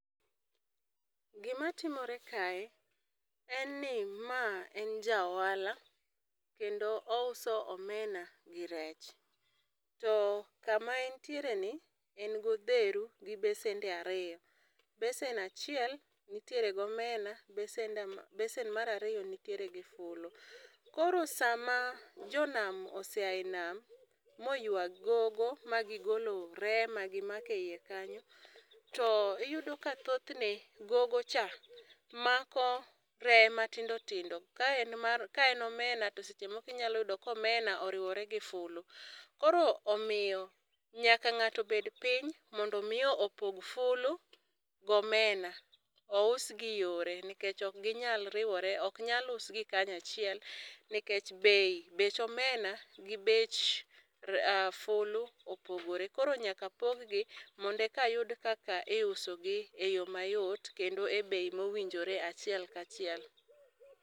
Gi ma timore kae en ni ma en ja ohala kendo ouso omena gi rech. To ka ma en tiere ni en gi odheru gi besende ariyo. Besen achiel ni gi omena ,besende besen mar ariyo nitiere gi fulu. Koro sa ma jonam oseya nam moywa gigo ma ogolo reye ma gi mako e iye kanyo to iyudo ka thothne gogo cha mako reye matindo tindo ka en omena to scehe moko inya yudo ka omena oriwore gi fulu. Koro omiyo nyaka ng'ato obed piny mondo mi ipog fulu gi omena ous gi yore nikech ok gi nya riwore ok nyal us gi kanyachiel nikech bech omena gi fulu opogore koro nyaka pog gi mondo eka yud kaka I uso gi e yo mayot kendo e bei mowinjore achiel kaachiel.